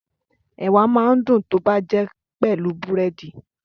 Ẹ̀wà máa ń dùn tó bá jẹ́ pelu búrẹ́dì